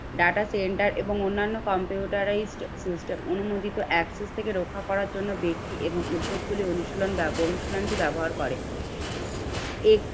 Data center এবং অন্যান্য computerised system অনুমোদিত access থেকে রক্ষা করার জন্যে অনুশীলন অনুশীলন টি ব্যবহার করে। একটি